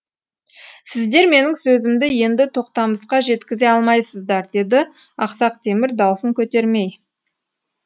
сіздер менің сөзімді енді тоқтамысқа жеткізе алмайсыздар деді ақсақ темір даусын көтермей